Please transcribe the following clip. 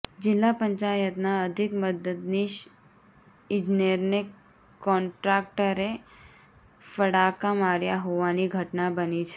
જીલ્લા પંચાયતના અધીક મદદનીશ ઇજનેરને કોન્ટ્રાક્ટરએ ફડાકા માર્યા હોવાની ઘટના બની છે